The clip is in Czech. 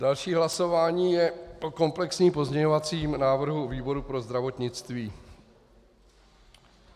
Další hlasování je o komplexním pozměňovacím návrhu výboru pro zdravotnictví.